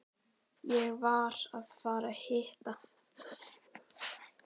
Ég var að fara að hitta